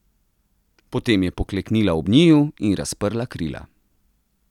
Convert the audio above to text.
Potem je pokleknila ob njiju in razprla krila.